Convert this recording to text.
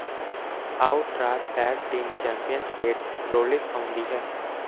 out Raw tag team champion Seth Rollins ਆਉਂਦੀ ਹੈ